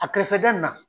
A kɛrɛfɛ da in na